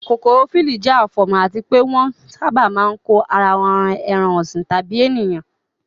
kokoro flii jẹ́ afomo àti pé wọ́n sábà máa ń kó ara won ran ẹran ọ̀sìn tàbí ènìyàn.